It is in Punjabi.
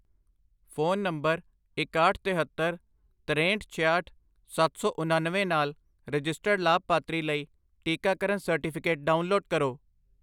ਫ਼ੋਨ ਨੰਬਰ ਇਕਾਹਠ, ਤਹੇਤਰ, ਤਰੇਂਹਟ, ਛਿਆਹਠ, ਸੱਤ ਸੌ ਉਨੱਨਵੇਂ ਨਾਲ ਰਜਿਸਟਰਡ ਲਾਭਪਾਤਰੀ ਲਈ ਟੀਕਾਕਰਨ ਸਰਟੀਫਿਕੇਟ ਡਾਊਨਲੋਡ ਕਰੋ